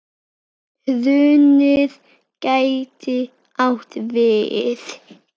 Hrunið gæti átt við